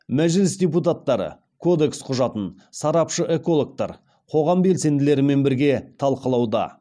мәжіліс депутаттары кодекс құжатын сарапшы экологтар қоғам белсенділерімен бірге талқылауда